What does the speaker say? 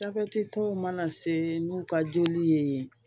Jabɛti tɔw mana se n'u ka joli ye